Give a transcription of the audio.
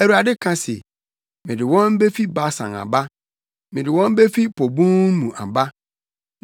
Awurade ka se, “Mede wɔn befi Basan aba; mede wɔn befi po bun mu aba,